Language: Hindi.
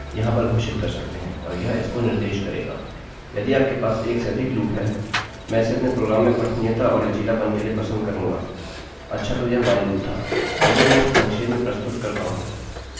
यदि आपके पास 1 से अधिक लूप हैं मैं इसे अपने प्रोग्राम में पठनीयता और लचीलापन के लिए पसंद करूँगा अच्छा तो यह while loop था चलिए मैं इसे संक्षेप में प्रस्तुत करता हूँ यह प्रारंभ कि कंडीशन जाँचता है